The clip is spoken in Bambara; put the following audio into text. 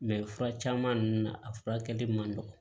fura caman ninnu na a furakɛli man nɔgɔn